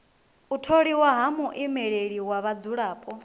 u tholiwa ha muimeleli wa vhadzulapo